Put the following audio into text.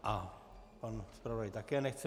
A pan zpravodaj také nechce.